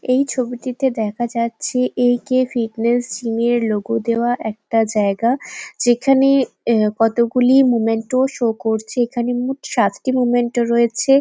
এই ছবিটিতে দেখা যাচ্ছে এ. কে. ফিটনেস জিম -এর লোগো দেওয়া একটা জায়গা যেখানে আহ কতগুলি মোমেন্টো শো করছে। এখানে মোট সাতটি মোমেন্টো রয়েছে ।